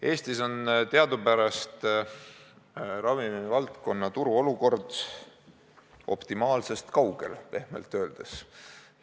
Eestis on teadupärast ravimivaldkonna turu olukord optimaalsest kaugel – pehmelt öeldes.